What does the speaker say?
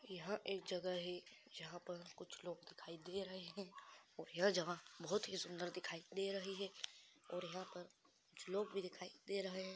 यहाँ एक जगह है जहाँ पर कुछ लोग दिखाई दे रहै है और यह जगह बहुत ही सुंदर दिखाई दे रही है और यहाँ पर कुछ लोग भी दिखाई दे रह हैं।